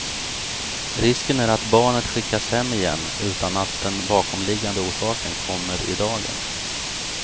Risken är att barnet skickas hem igen utan att den bakomliggande orsaken kommer i dagen.